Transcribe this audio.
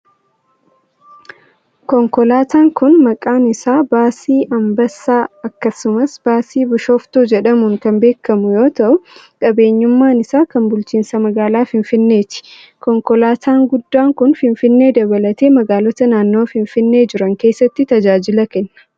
Konkolaataan kun maqaan isaa Baasii Anbassa akkasumas Baasii Bishooftuu jedhamuun kan beekamu yoo ta'u, qabeenyummaan isaa kan bulchiinsa magaalaa Finfinneeti. Konkolaataa guddaan kun ,finfinnee dabalatee magaalota naannawa finfinnee jiran keessatti tajaajila kenna.